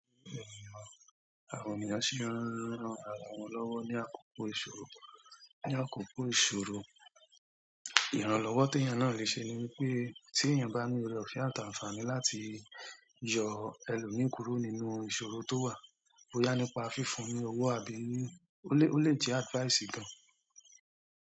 Àwọn ènìyàn sì ń ran ara wọn lọ́wọ́ ní àkókò ìṣòro. Ní àkókò ìṣòro, ìrànlọ́wọ́ tí ènìyàn náà lè ṣe ni wípé tí ènìyàn bá ní ọ̀rẹ́ ọ̀fẹ́ àti àtàǹfàní láti yọ ẹlòmíràn kúrò nínú ìṣòro tó wà, boyá nípa fífún un ní owó àbí ó le jẹ́ advice gan.